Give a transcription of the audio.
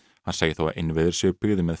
hann segir þó að innviðir séu byggðir með